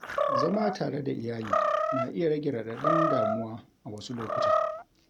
Zama tare da iyali na iya rage raɗaɗin damuwa a wasu lokuta.